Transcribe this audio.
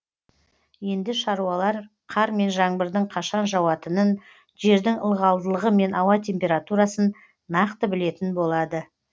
енді шаруалар қар мен жаңбырдың қашан жауатынын жердің ылғалдылығы мен ауа температурасын нақты білетін болады